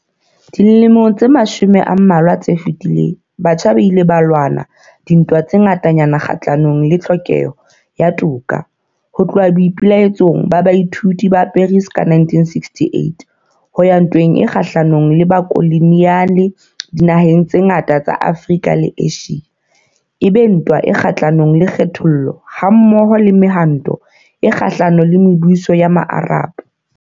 Dilemong tse mashome a mmalwa tse fetileng, batjha ba ile ba lwana dintwa tse ngatanyana kgahlanong le tlhokeho ya toka, ho tloha boipe-laetsong ba baithuti ba Paris ka 1968, ho ya ntweng e kgahlanong le bokoloniale dinaheng tse ngata tsa Afrika le Asia, e be ntwa e kgahlanong le kgethollo, ha-mmoho le Mehwanto e Kgahla-nong le Mebuso ya Maarab.